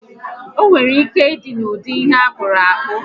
Onwere ike ịdị n'ụdị ihe akpụrụ akpụ